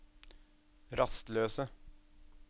rastløse